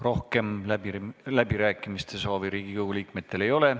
Rohkem Riigikogu liikmetel läbirääkimiste soovi ei ole.